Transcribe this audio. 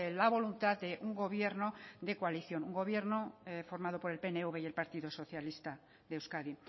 la voluntad de un gobierno de coalición gobierno formado por el pnv y el partido socialista de euskadi